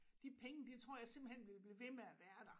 De penge de tror jeg simpelthen vil blive ved med at være der